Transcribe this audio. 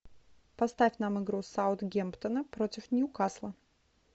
поставь нам игру саутгемптона против ньюкасла